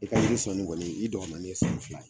I ka yiri sɔnni kɔni i dɔgɔmanin ye san fila ye.